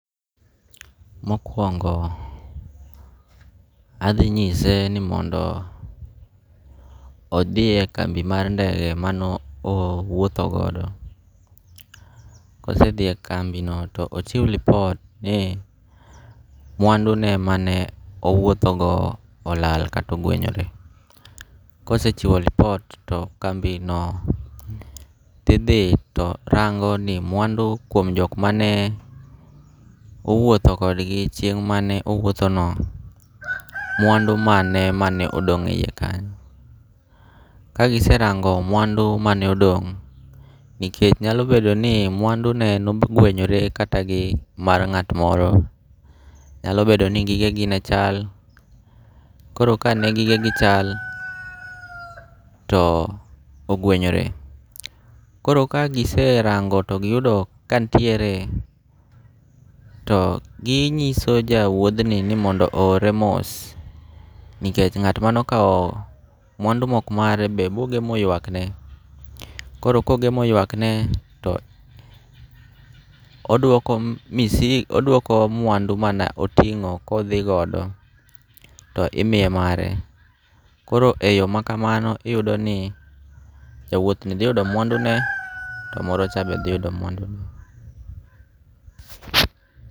Mokuongo' athinyise ni mondo othie kambi mar ndege mano owuotho godo, kosethie kambino to ochiw report ni mwandune mane owuothogo olal kata ogwenyore, kosechiwo report to kambino ti thi to rango ni mwandu kuom jok mane owutho kodgi chieng mane owuothono mwandu mane mane odong' e hiye kanyo, kagiserango' mwandu mane odong', nikech nyalo bedo ni mwandune ne ogwenyore kata gi mar nga't moro, nyalo bedo ni gigegi ne chal , koro ka ne gigegi ne chal to ogwenyore koro ka giserango to giyudo ka nitiere to gi nyiso ja uthni ni mondo ohore mos, nikech nga'ma okawo mwandu ma ok mare be bogemo ywakne, koro kogemo ywakne to odwoko misigo odwoko mwandu mane otongo' kothi godo to imiye mare koro e yo makamano iyudo ni jauothni thiyudo mwandune to morocha be thiyudo mwandune.